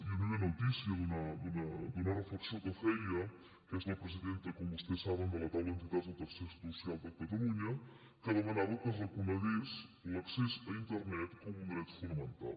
hi havia una notícia d’una reflexió que feia que és la presidenta com vostès saben de la taula d’entitats del tercer social de catalunya que demanava que es reconegués l’accés a internet com un dret fonamental